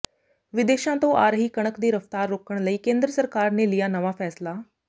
ਵਿਦੇਸ਼ਾਂ ਤੋਂ ਆ ਰਹੀ ਕਣਕ ਦੀ ਰਫ਼ਤਾਰ ਰੋਕਣ ਲਈ ਕੇਂਦਰ ਸਰਕਾਰ ਨੇ ਲਿਆ ਨਵਾਂ ਫ਼ੈਸਲਾ